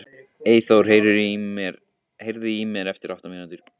Eyþór, heyrðu í mér eftir átta mínútur.